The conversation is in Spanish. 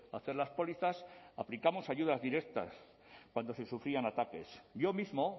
hacer las pólizas aplicamos ayudas directas cuando se sufrían ataques yo mismo